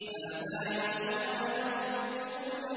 هَٰذَا يَوْمُ لَا يَنطِقُونَ